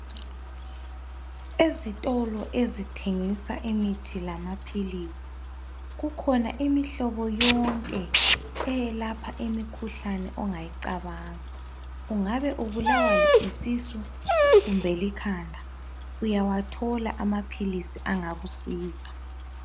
Ezitolo ezithengisa imithi lamaphilisi, kukhona imihlobo yonke eyelapha imikhuhlane ongayicabanga. Ungabe ubulawa yisisu kumbe likhanda uyawathola amaphilisi angakusiza.